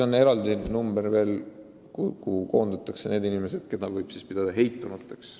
On veel eraldi kategooria, keda võib pidada heitunuteks.